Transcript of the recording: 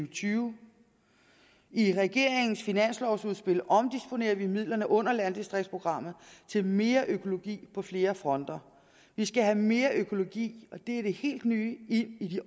og tyve i regeringens finanslovforslag omdisponerer vi midlerne under landdistriktsprogrammet til mere økologi på flere fronter vi skal have mere økologi og det er det helt nye i